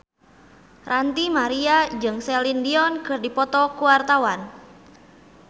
Ranty Maria jeung Celine Dion keur dipoto ku wartawan